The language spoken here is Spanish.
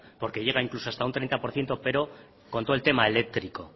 porque llega incluso hasta un treinta por ciento pero con todo el tema eléctrico